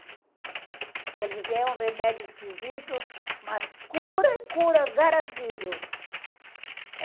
E ela disse assim, é um remédio esquisito, mas cura, cura, garantido.